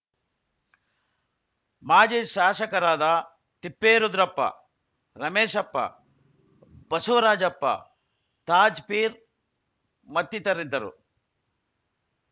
ಮಾಜಿ ಶಾಸಕರಾದ ತಿಪ್ಪೇರುದ್ರಪ್ಪ ರಮೇಶಪ್ಪ ಬಸವರಾಜಪ್ಪ ತಾಜ್‌ಪೀರ್‌ ಮತ್ತಿತರರಿದ್ದರು